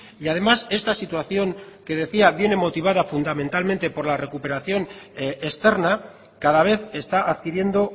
y además esta situación que decía viene motivada fundamentalmente por la recuperación externa cada vez está adquiriendo